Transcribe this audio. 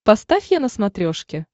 поставь е на смотрешке